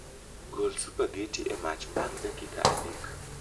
Gol supageti e mach bang' dakika adek